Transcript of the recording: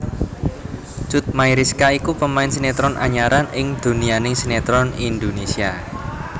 Cut Mayriska iku pemain sinetron anyaran ing donyaning sinetron Indonesia